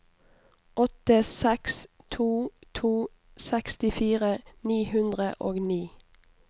åtte seks to to sekstifire ni hundre og ni